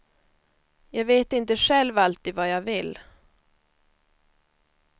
Jag vet inte själv alltid vad jag vill.